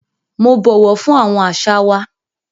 Mo bọwọ fun awọn aṣa wa.